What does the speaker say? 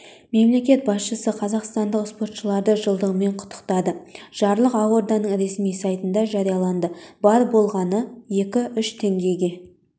мемлекет басшысы қазақстандық спортшыларды жылдығымен құттықтады жарлық ақорданың ресми сайтында жарияланды бар болғаны екі үш теңгеге